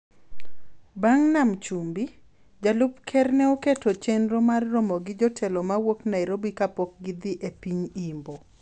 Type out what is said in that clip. Bang� Nam Chumbi, Jalup Ker ne oketo chenro mar romo gi jotelo ma wuok Nairobi kapok gidhi e piny Imbo.